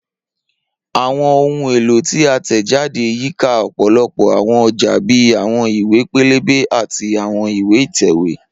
Awọn ohun elo ti a tẹjade yika ọpọlọpọ awọn ọja bii awọn iwe pẹlẹbẹ ati awọn iwe itẹwe.